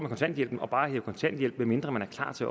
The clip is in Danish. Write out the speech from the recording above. kontanthjælpen bare at hæve kontanthjælp medmindre man er klar til